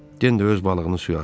Den də öz balığını suya atdı.